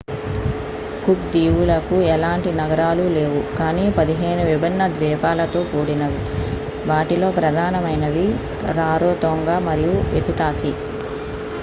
cook దీవులకు ఎలాంటి నగరాలు లేవు కానీ 15 విభిన్న ద్వీపాలతో కూడినవి వాటిలో ప్రధానమైనవి రారోతోంగ మరియు ఎతుటాకి